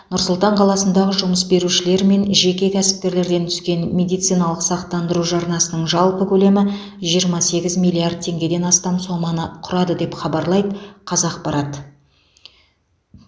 нұр сұлтан қаласындағы жұмыс берушілер мен жеке кәсіпкерлерден түскен медициналық сақтандыру жарнасының жалпы көлемі жиырма сегіз миллиард теңгеден астам соманы құрады деп хабарлайды қазақпарат